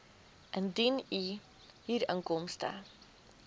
indien u huurinkomste